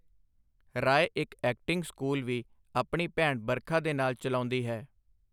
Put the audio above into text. ਰਾਏ ਇੱਕ acting school ਵੀ, ਆਪਣੀ ਭੈਣ ਬਰਖਾ ਦੇ ਨਾਲ ਚਲਾਉਂਦੀ ਹੈ।